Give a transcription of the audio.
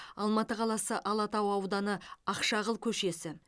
алматы қаласы алатау ауданы ақшағыл көшесі